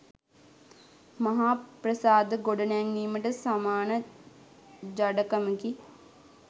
මහා ප්‍රසාද ගොඩ නැංවීමට සමාන ජඩකමකි